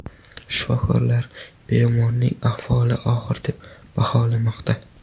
Shifokorlar bemorning ahvolini og‘ir deb baholamoqda.